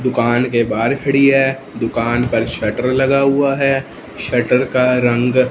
दुकान के बाहर खड़ी है दुकान पर शटर लगा हुआ है। शटर का रंग--